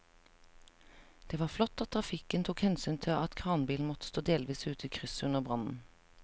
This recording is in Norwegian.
Det var flott at trafikken tok hensyn til at kranbilen måtte stå delvis ute i krysset under brannen.